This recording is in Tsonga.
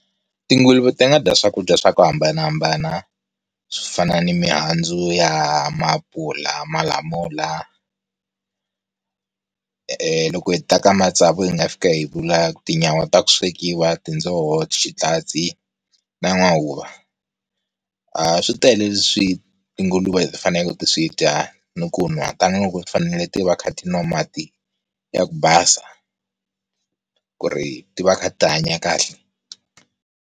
Tinguluve ti nga dya swakudya swa ku hambanahambana, swo fana ni mihandzu ya Maapula, Malamula, eeh loko hi ta ka matsavu hi nga fika hi vula ku Tinyawa ta ku swekiwa, Tindzoho, xitachi na n'wahuva aarh switele leswi tinguluve ti fanele ti swi dya ni ku nwa tanihiloko ti fanele ti va ti kha ti nwa mati ya ku basa ku ri ti va ti kha ti hanya kahle.